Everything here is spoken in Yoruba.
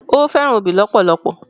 Ó fẹ́ràn obì lọ́pọ̀lọ́pọ̀